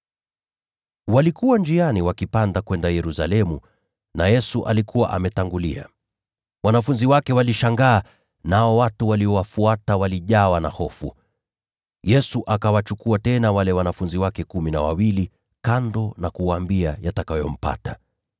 Walikuwa njiani wakipanda kwenda Yerusalemu, na Yesu alikuwa ametangulia. Wanafunzi wake walishangaa, nao watu waliowafuata walijawa na hofu. Yesu akawachukua tena wale wanafunzi wake kumi na wawili kando na kuwaambia yatakayompata.